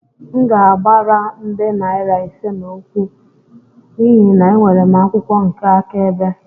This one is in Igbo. M ga-agbara nde naira ise n'okwu a n'ihi na enwere m akwụkwọ nke akaebe